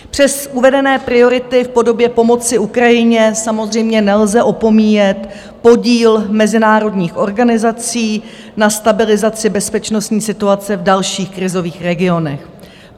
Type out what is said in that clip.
Přes uvedené priority v podobě pomoci Ukrajině samozřejmě nelze opomíjet podíl mezinárodních organizací na stabilizaci bezpečnostní situace v dalších krizových regionech.